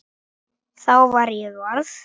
Þá var ég orð